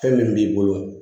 Fɛn min b'i bolo